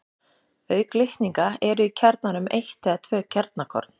Auk litninga eru í kjarnanum eitt eða tvö kjarnakorn.